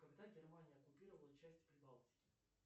когда германия оккупировала часть прибалтики